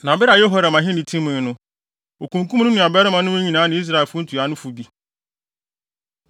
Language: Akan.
Na bere a Yehoram ahenni timii no, okunkum ne nuabarimanom no nyinaa ne Israelfo ntuanofo bi.